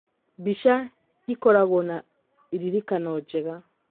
Mbica ĩkoragwo na iririkano njega.